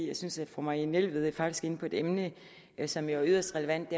jeg synes fru marianne jelved faktisk er inde på et emne som er yderst relevant